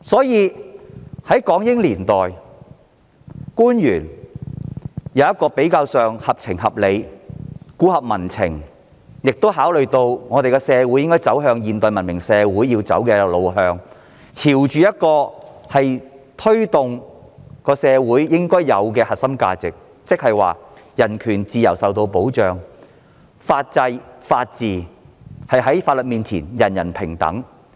因此，港英年代的官員比較合情合理和顧及民情，考慮到社會需朝着現代文明社會的路向發展，並推動社會應有的核心價值，令人權自由受保障，在當時的法制及法治下，做到法律面前人人平等。